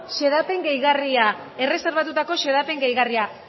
xedapen gehigarria erreserbatutako xedapen gehigarria